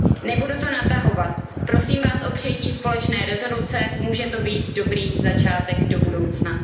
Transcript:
zvu. Nebudu to natahovat, prosím Vás o přijetí společné rezoluce, může to být dobrý začátek do budoucna.